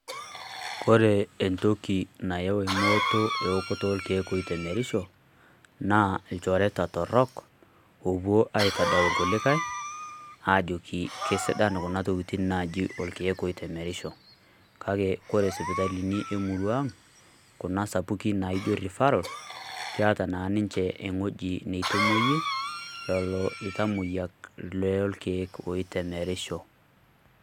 Kore entoki nayau emooto eokoto olkiek oitemerisho, naa lchoreta torook opoo aitodol kulikai ajoki kesidaan kuna ntokitin naji olkiek oitemerisho. Kaki kore isipitalini emurrua ang kuna sapukin naijo refarol keeta naa ninchee eng'oji neitomoye lelo ntamoyaak lo ilkiek oitamerisho.